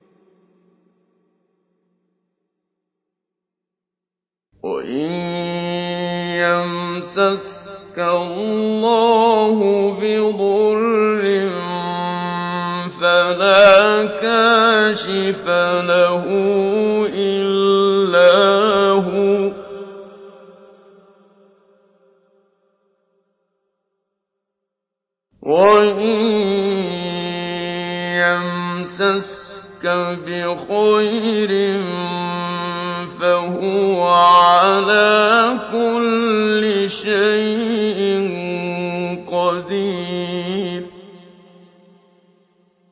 وَإِن يَمْسَسْكَ اللَّهُ بِضُرٍّ فَلَا كَاشِفَ لَهُ إِلَّا هُوَ ۖ وَإِن يَمْسَسْكَ بِخَيْرٍ فَهُوَ عَلَىٰ كُلِّ شَيْءٍ قَدِيرٌ